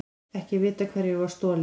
Ekki vitað hverju var stolið